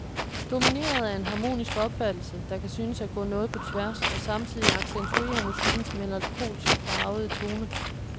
Domineret af en harmonisk opfattelse, der kan synes at gå noget på tværs og samtidigt accentuerer musikkens melankolsk farvede tone.